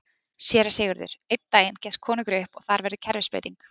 SÉRA SIGURÐUR: Einn daginn gefst konungur upp og þar verður kerfisbreyting!